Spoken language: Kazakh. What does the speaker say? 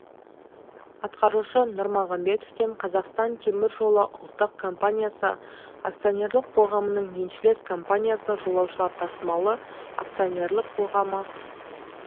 атқарушы нұрмағанбетовтен қазақстан темір жолы ұлттық компаниясы акционерлік қоғамының еншілес компаниясы жолаушылар тасымалы акционерлік қоғамы